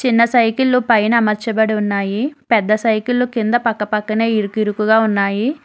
సైకిల్లు పైన మార్చబడి ఉన్నాయి పెద్ద సైకిళ్ళు కింద పక్కపక్కనే ఇరికి ఇరుకుగా ఉన్నాయి.